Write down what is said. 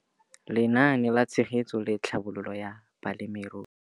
Lenaane la Tshegetso le Tlhabololo ya Balemirui.